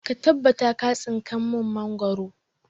Ka tabbata ka tsinka mun mangoro!